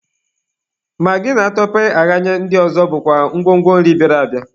Magị na atọpee ahanye ndị ọzọ bụkwa ngwo ngwo nri bịara abịa.